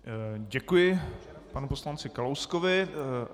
Děkuji panu poslanci Kalouskovi.